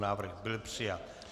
Návrh byl přijat.